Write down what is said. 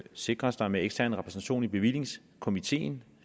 sikres der med ekstern repræsentation i bevillingskomiteen